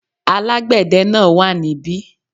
Alágbède náà wà ní bí